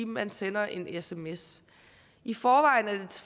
man sender en sms i forvejen er det